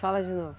Fala de novo.